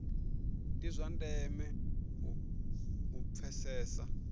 ndi zwa ndeme u pfesesa